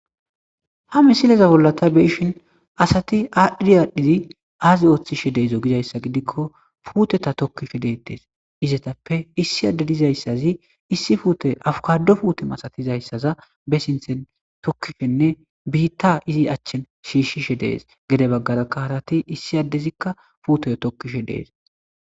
Ha misileza bollata beishin asati aadhiri aadhdhidi aazi ooththishe deezo gidayssa gidikko puuteta tokkifhe deettes izetappe issi adde dizayssazi issi puute afukado puute masatizayssaza be sinthen tokkifenne biitta izi achchen shiishshishe dees gede baggarakka halati issi addezikka puuteyo tokkishe dees.